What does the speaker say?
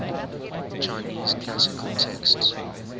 chinese classic texts